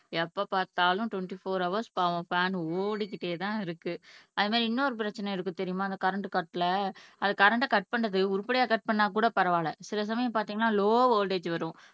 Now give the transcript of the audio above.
எப்ப பார்த்தாலும் twenty four hours பாவம் ஃபேன் ஓடிக்கிட்டேதான் இருக்கு அதுமாறி இன்னொரு பிரச்சனை இருக்கு தெரியுமா அந்த கரண்ட் கட்ல அது கரண்ட கட் பண்றது உருப்படியா கட் பண்ணா கூட பரவாயில்லை சில சமயம் பார்த்தீங்கன்னா லோ வோல்ட்டேஜ் வரும்